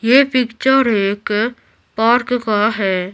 ये पिक्चर एक पार्क का है।